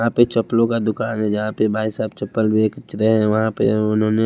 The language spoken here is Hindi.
वहां पे चप्पलों का दुकान है जहां पे भाई साहब चप्पल बेच रहे हैं वहां पे उन्होंने--